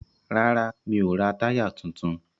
Rárá, mi ò ra táyà tuntun.